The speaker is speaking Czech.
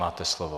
Máte slovo.